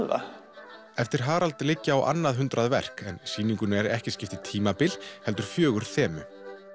það eftir Harald liggja á annað hundrað verk en sýningunni er ekki skipt í tímabil heldur fjögur þemu